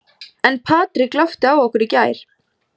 En Patrik glápti á okkur í gær.